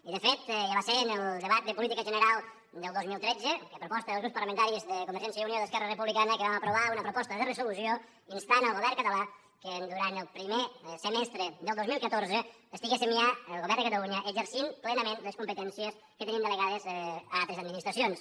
i de fet ja va ser en el debat de política general del dos mil tretze que a proposta dels grups parlamentaris de convergència i unió i d’esquerra republicana vam aprovar una proposta de resolució instant el govern català que durant el primer semestre del dos mil catorze estiguéssim ja el govern de catalunya exercint plenament les competències que teníem delegades a altres administracions